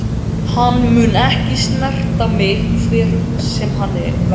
Hann mun ekki snerta mig hver sem hann verður.